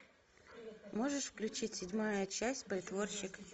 можешь включить седьмая часть притворщик